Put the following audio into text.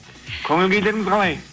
көңіл күйлеріңіз қалай